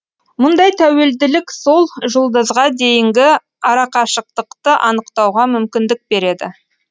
мұндай тәуелділік сол жұлдызға дейінгі арақашықтықты анықтауға мүмкіндік береді